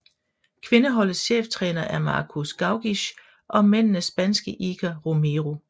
Kvindeholdets cheftræner er Markus Gaugisch og mændenes spanske Iker Romero